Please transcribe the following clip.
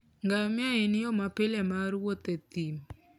Ngamia en yo mapile mar wuoth e thim.